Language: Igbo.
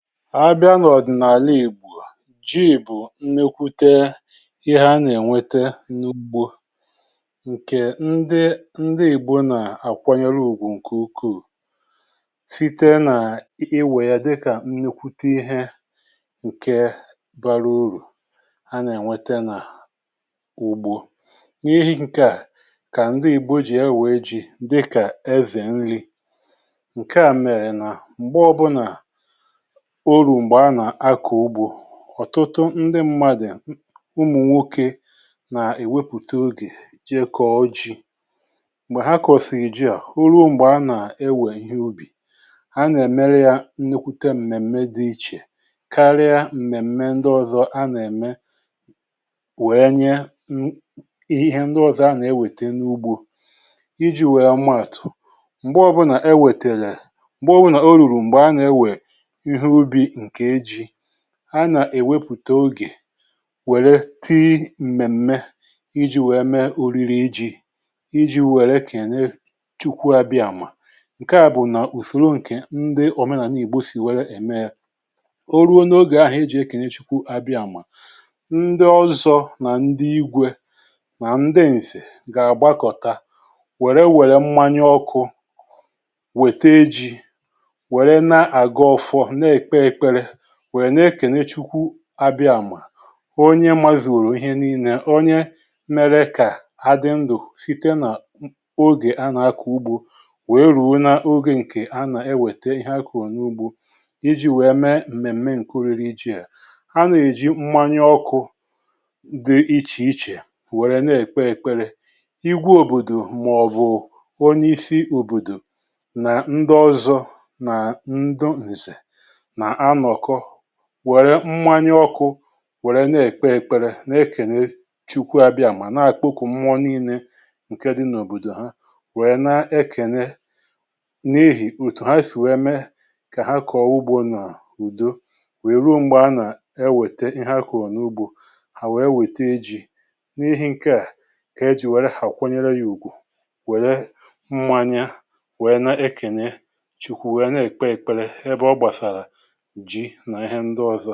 A bịa n’ọ̀dị̀nàla ìgbò, ji bụ nnekwute ihe a nà-ènwete n’ugbo ǹkè ndi ndi ìgbo nà-àkwanyere ùgwu ǹkè ukwuù, site n’iwè ya dịkà nnekwute ihe ǹke bara urù a nà-ènwete n’ùgbo, n’ihi ǹkè a kà ndi ìgbo ji ewee ji dịkà eze nri, ǹke à mèrè nà m̀gbe ọbụna o ruru mgbe ana- akọ ụgbọ, ọ̀tụtụ ndị mmadù umù nwokė nà-èwepùta oge jee kọọ ji, m̀gbè ha kọ̀sìri ji à, ana-emere ya nnukwute mmemme dị iche karịa mmemme ndị ọzọ wee nye ihe ndị ọzọ ana-ènwete n'ụgbọ. Iji wee maatu, mgbe ọbụna ewetere mgbe ọbụna oruru m̀gbè a nà-ewè ihe ubì nke ji, a na-ewepụta oge were tii mmemme iji were mee oriri ji, iji wee ekene Chukwu Abiama. Nke à bụ̀ nà ùsòro ǹkè ndị òmenàna ìgbo sì wère ème yȧ, o ruo n’ogè ahụ̀ e jì e kènė chukwu abịamà ndị ọzọ nà ndị igwė nà ndị ǹzè gà-àgbakọ̀ta wère wère mmanya ọkụ̇ wète ji̇ were na-agọzi ọfọ, na-ekpe ekpere were na-ekene Chukwu Abiama onye mazuru ihe nii̇nė onye mėrė kà adị ndù sìte nà ogè a nà-akọ̀ ugbo wee rùo n’ogè ǹkè a nà-ewète ihe akọ̀ro n’ugbȯ, iji wèe mee m̀mèm̀me ǹke oriri ji à, anà èji mmanya ọkụ̇ di ichèichè wère na-èkpe kpere, igwe òbòdò mà ọ̀ bụ̀ onye isi òbòdò nà ndị ọzọ nà ndi ǹzè na-anoko wère mmanya ọkụ̇ wère na-èkpe èkpere na-ekène chukwu abịàmà na-àkpokwu mmọọ nine ǹke dị n’òbòdò ha wèe na-ekène n’ihì òtù ha sì wee mee kà ha kọ̀ọ ugbȯ nà ùdo wèe ruo m̀gbè a nà e wète ihe akọ̀rọ̀ n’ugbȯ, hà wèe wète ji̇ n’ihi̇ ǹke à, ka ejì wère akwanyere yȧ ùgwù wère mmanya wèe na-ekène chukwu wèe na-èkpe èkpere ebe ọ gbàsàrà ji nà íhè ndù ọzọ.